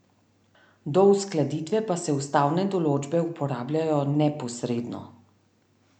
Do uskladitve pa se ustavne določbe uporabljajo neposredno.